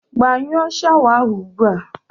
Gbanyụọ shawa ahụ ugbu a!